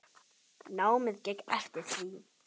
Námið gekk eftir því.